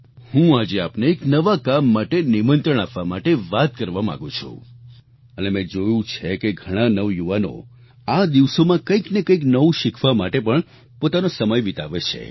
હું આજે આપને એક નવા કામ માટે નિમંત્રણ આપવા માટે વાત કરવા માગું છું અને મેં જોયું છે કે ઘણાં નવયુવાનો આ દિવસોમાં કંઈક ને કંઈક નવું શીખવા માટે પણ પોતાનો સમય વિતાવે છે